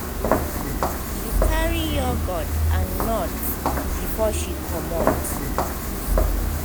she carry yogurt and nuts before she commot.